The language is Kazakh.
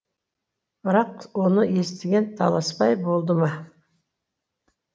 бірақ оны естіген таласбай болды ма